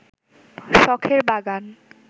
শখের বাগান